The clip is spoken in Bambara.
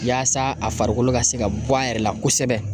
Yaasa a farikolo ka se ka bɔ a yɛrɛ la kosɛbɛ